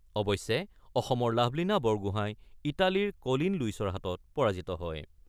অৱশ্যে, অসমৰ লাভলীনা বৰগোঁহাই ইটালীৰ ক'লিন লুইচৰ হাতত পৰাজিত হয়।